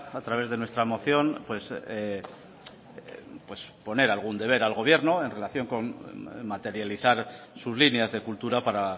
a través de nuestra moción poner algún deber al gobierno en relación con materializar sus líneas de cultura para